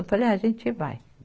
Eu falei, ah, a gente vai.